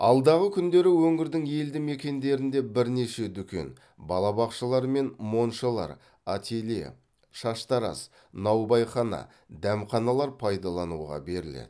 алдағы күндері өңірдің елді мекендерінде бірнеше дүкен балабақшалар мен моншалар ателье шаштараз наубайхана дәмханалар пайдалануға беріледі